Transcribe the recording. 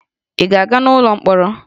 Ị ga-aga n'ụlọ mkpọrọ?